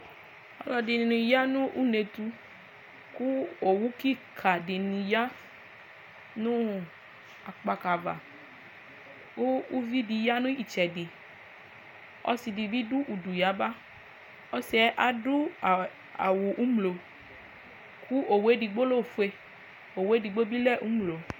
ɔlɔdini yanu ountou kou owou kika nou akpakava ouvidi ya nou itsɛɖi ɔsiɖibi dou ouɖouyaba ɔsiɛ aɖouawɔ oumlo owou edigbo lɛoƒoɛ edigbo lɛomlo